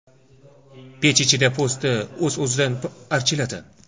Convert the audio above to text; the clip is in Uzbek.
Pech ichida po‘sti o‘z-o‘zidan archiladi.